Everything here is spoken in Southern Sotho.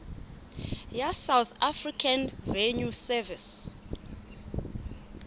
ya south african revenue service